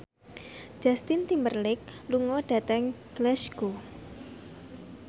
Justin Timberlake lunga dhateng Glasgow